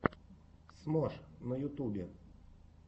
смош на ютубе